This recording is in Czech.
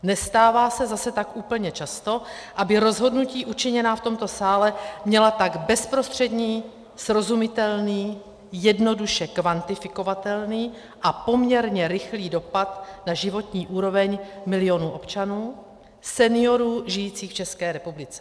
Nestává se zase tak úplně často, aby rozhodnutí učiněná v tomto sále měla tak bezprostřední, srozumitelný, jednoduše kvantifikovatelný a poměrně rychlý dopad na životní úroveň milionů občanů, seniorů žijících v České republice.